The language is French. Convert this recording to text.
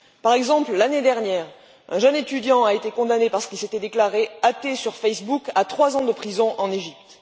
Par exemple, l'année dernière, un jeune étudiant a été condamné, parce qu'il s'était déclaré athée sur Facebook, à trois ans de prison en Égypte.